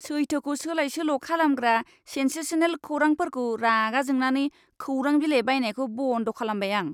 सैथोखौ सोलाय सोल' खालामग्रा सेनसेसनेल खौरांफोरखौ रागा जोंनानै खौरां बिलाइ बायनायखौ बन्द' खालामबाय आं।